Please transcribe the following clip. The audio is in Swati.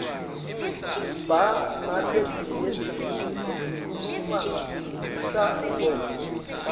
siba naletinyenti letikhuluma ngelutsandvo